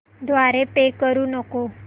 द्वारे पे करू नको